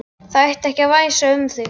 Það ætti ekki að væsa um þig.